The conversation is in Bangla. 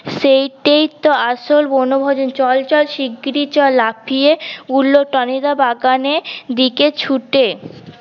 সেই টেই তো আসল বনভোজন চল চল শীঘ্রী চল লাফিয়ে উলট টনি দা বাগানের দিকে ছুটে